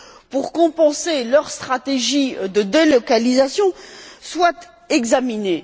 pour compenser leur stratégie de délocalisation, soient examinées.